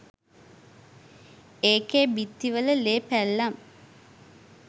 ඒකෙ බිත්ති වල ලේ පැල්ලම්